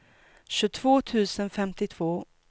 tjugotvå tusen femtiotvå